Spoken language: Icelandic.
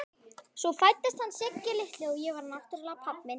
Svo fæddist hann Siggi litli og ég var náttúrlega pabbinn.